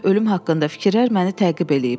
Ölüm haqqında fikirlər məni təqib edib.